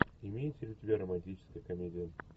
имеется ли у тебя романтическая комедия